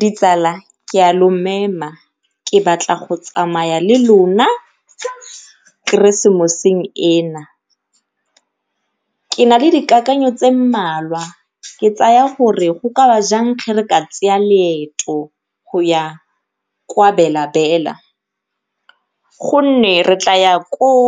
Ditsala ke a lo mema ke batla go tsamaya le lona keresemoseng ena, ke nale dikakanyo tse mmalwa ke tsaya gore go ka ba jang ge re ka loeto go ya kwa Bela Bela gonne re tla ya koo